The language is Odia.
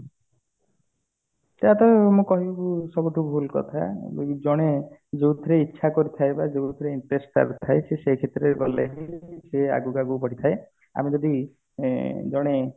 ତା ପାଇଁ ମୁଁ କହିବି ସେ ଗୋଟେ ଭୁଲ କଥା ଯଦି ଜଣେ ଯୋଉଥିରେ ଇଛା କରିଥାଏ ବା ଯୋଉଥିରେ interest କରିଥାଏ ସେ ସେଇ କ୍ଷେତ୍ର ରେ ଗଲେ ହିଁ ସିଏ ଆଗକୁ ଆଗକୁ ବଢି ଥାଏ ଆମେ ଯଦି ଉଁ ଜଣେ